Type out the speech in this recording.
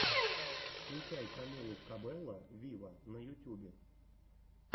включай камилу кабелло виво на ютюбе